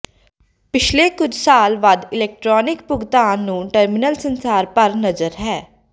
ਪਿਛਲੇ ਕੁਝ ਸਾਲ ਵੱਧ ਇਲੈਕਟ੍ਰਾਨਿਕ ਭੁਗਤਾਨ ਨੂੰ ਟਰਮੀਨਲ ਸੰਸਾਰ ਭਰ ਨਜ਼ਰ ਹੈ